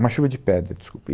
Uma chuva de pedra, desculpe